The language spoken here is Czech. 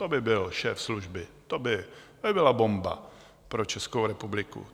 To by byl šéf služby, to by byla bomba pro Českou republiku!